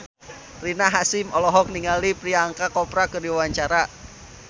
Rina Hasyim olohok ningali Priyanka Chopra keur diwawancara